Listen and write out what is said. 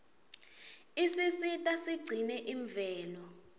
isisita sigcine imvelo